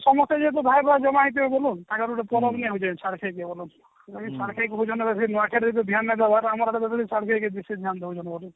ସମସ୍ତେ ଯେହେତୁ ଭାଇ ଭାଇ ଜମା ହେଇଥିବେ ବୋଲୁନ ତାଙ୍କର ଗୋଟେ ପରବ ଛାଡଖାଇ ପରବ ଛାଡଖାଇ ପରବ ମାନେ ସେଇ ନୂଆଖାଇ ରେ ଯୋଉ ବିହନ ଦେବାର ଆମର ଛାଡଖାଇ କି ସେମତି ବିହନ ଦେଉଛନ୍ତି ବୋଧେ